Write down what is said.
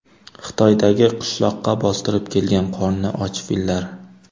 Xitoydagi qishloqqa bostirib kelgan qorni och fillar.